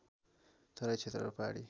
तराई क्षेत्र र पहाडी